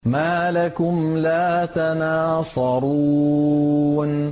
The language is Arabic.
مَا لَكُمْ لَا تَنَاصَرُونَ